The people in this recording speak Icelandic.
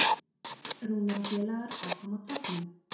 Rúnar og félagar áfram á toppnum